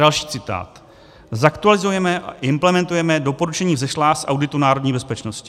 Další citát: "Zaktualizujeme a implementuje doporučení vzešlá z Auditu národní bezpečnosti."